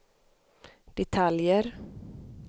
detaljer